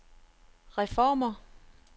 reformer